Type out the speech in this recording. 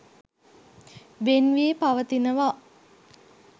වෙන් වී පවතිනවා.